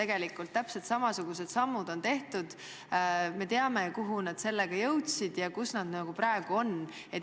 Seal on täpselt samasugused sammud astutud ning me teame, kuhu nad sellega jõudsid ja kus nad praegu on.